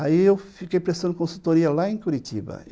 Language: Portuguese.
Aí eu fiquei prestando consultoria lá em Curitiba.